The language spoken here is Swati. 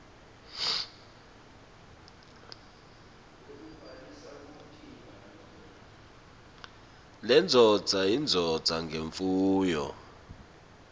indvodza yindvodza ngemfuyo